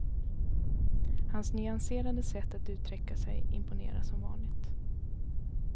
Hans nyanserade sätt att uttrycka sig imponerar som vanligt.